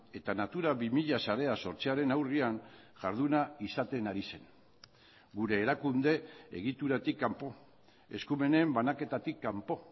eta natura bi mila sarea sortzearen aurrean jarduna izaten ari zen gure erakunde egituratik kanpo eskumenen banaketatik kanpo